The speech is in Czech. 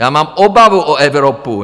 Já mám obavu o Evropu.